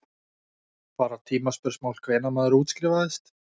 Bara tímaspursmál hvenær maður útskrifaðist.